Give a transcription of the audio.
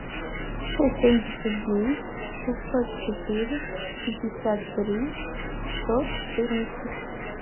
сто семьдесят девять шестьсот четыре пятьдесят три сто четырнадцать